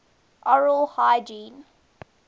oral hygiene